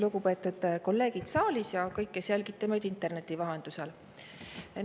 Lugupeetud kolleegid saalis ja kõik, kes te jälgite meid interneti vahendusel!